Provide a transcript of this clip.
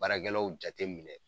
Baarakɛlaw jateminɛ